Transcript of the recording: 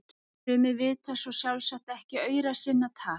Sumir vita svo sjálfsagt ekki aura sinna tal!